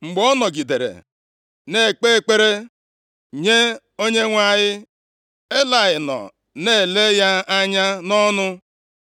Mgbe ọ nọgidere na-ekpe ekpere nye Onyenwe anyị, Elayị nọ na-ele ya anya nʼọnụ.